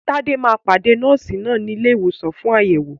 Tade máa pàdé Nọ́ọ̀sì náà ní ilé ìwòsàn fún àyẹ̀wò.